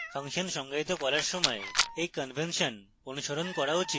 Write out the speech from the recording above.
function সংজ্ঞায়িত করার সময় you কনভেনশন অনুসরণ করা উচিত